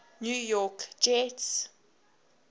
new york jets